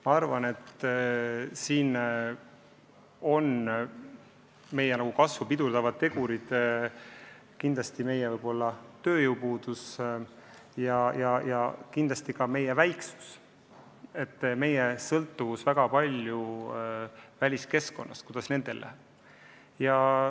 Ma arvan, et meie kasvu pidurdavad tegurid on kindlasti tööjõupuudus ja ka meie väiksus, meie suur sõltuvus väliskeskkonnast, sellest, kuidas mujal läheb.